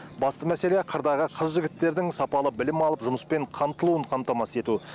басты мәселе қырдағы қыз жігіттердің сапалы білім алып жұмыспен қамтылуын қамтамасыз ету